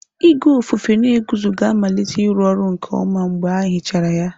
Igwe ofufe na-eguzo ga-amalite ịrụ ọrụ nke ọma mgbe e hichara ya.